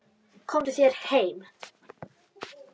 Komdu þér heim!